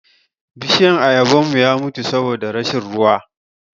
Bishiyan Ayaban mu ya mutu saboda rashin ruwa.